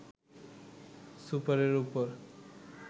সুপারের ওপর